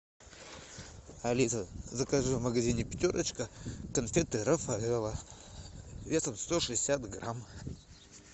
алиса закажи в магазине пятерочка конфеты рафаэлло весом сто шестьдесят грамм